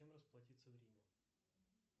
чем расплатиться в риме